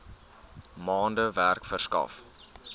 maande werk verskaf